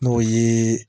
N'o ye